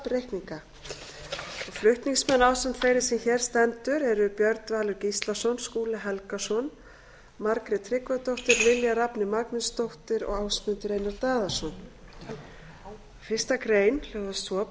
safnreikninga flutningsmenn ásamt þeirri sem hér stendur eru björn valur gíslason skúli helgason margrét tryggvadóttir lilja rafney magnúsdóttir og ásmundur einar daðason fyrstu grein hljóðar svo breyting